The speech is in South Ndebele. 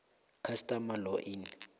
customary law in